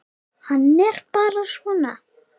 Hann er bara svona.